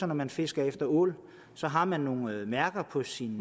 når man fisker efter ål har man nogle mærker på sine